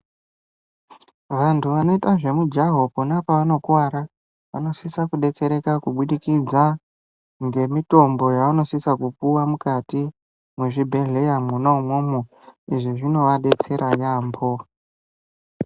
Vanthu vanoita zvemujaho kwona kwevanokuwara, vanosisa kudetsereka kubudikidze, ngemitombo yevanosisa kupuwa mukati mwezvibhedhleya mwona umwomwo. Izvi zvinovadetsera yaampho.